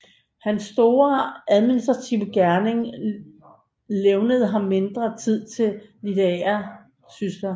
Hans store administrative gerning levnede ham mindre tid til litterære sysler